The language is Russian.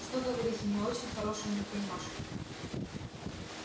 что говорить у неё очень хорошенькие ножки